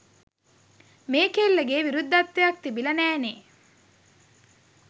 මේ කෙල්ලගේ විරුද්ධත්වයක් තිබිලා නෑනේ.